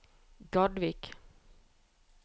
Gardvik